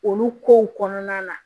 Olu kow kɔnɔna na